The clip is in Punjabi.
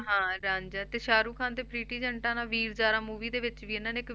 ਹਾਂ ਰਾਂਝਾ ਤੇ ਸਾਹਰੁਖ ਖ਼ਾਨ ਤੇ ਪ੍ਰੀਟੀ ਜੈਂਟਾ ਨਾਲ ਵੀਰ ਜਾਰਾ movie ਦੇ ਵਿੱਚ ਵੀ ਇਹਨਾਂ ਨੇ ਇੱਕ